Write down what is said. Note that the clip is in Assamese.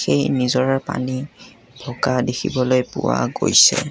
সেই নিজৰাৰ পানী থকা দেখিবলৈ পোৱা গৈছে।